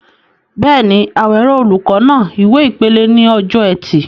Bẹ́ẹ̀ni, Awero, olùkọ́ náà, ìwé ìpele ní ọjọ́ Ẹtì.